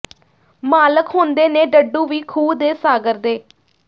ਮਾਲਕ ਹੁੰਦੇ ਨੇ ਡੱਡੂ ਵੀ ਖੂਹ ਦੇ ਸਾਗਰ ਦੇ